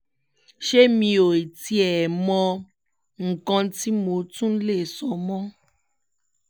ṣé mi ò tiẹ̀ mọ nǹkan tí mo tún lè sọ mọ́